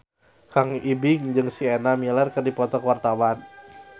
Kang Ibing jeung Sienna Miller keur dipoto ku wartawan